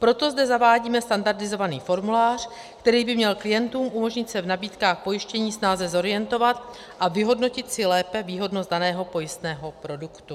Proto zde zavádíme standardizovaný formulář, který by měl klientům umožnit se v nabídkách pojištění snáze zorientovat a vyhodnotit si lépe výhodnost daného pojistného produktu.